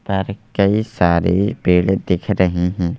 पर कई सारे पेड़ दिख रही हैं।